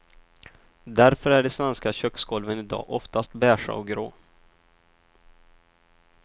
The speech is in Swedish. Därför är de svenska köksgolven i dag ofta beiga och grå.